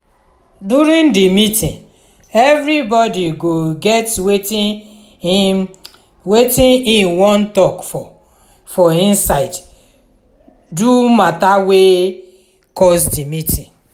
during di meeting everybody go get wetin im wetin im wan talk for for inside do mata wet cus di meeting